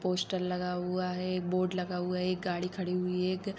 Poster लगा हुआ हैं एक बोर्ड लगा हुआ हैं एक गाड़ी खड़ी हुई है एक‌।